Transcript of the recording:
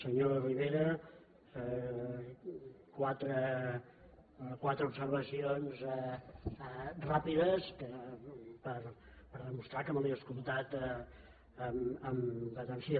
senyor rivera quatre observacions ràpides per demostrar que me l’he escoltat amb atenció